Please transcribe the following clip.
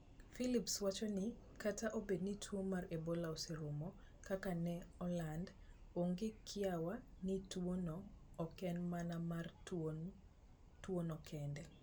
Philips wacho ni, "Kata obedo ni tuwo mar Ebola oserumo... kaka ne oland, onge kiawa ni tuwono ok en mana mar tuwono kende.